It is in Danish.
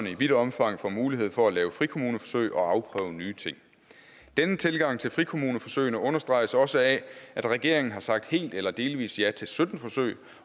i vidt omfang får mulighed for at lave frikommuneforsøg og afprøve nye ting denne tilgang til frikommuneforsøgene understreges også af at regeringen har sagt helt eller delvis ja til sytten forsøg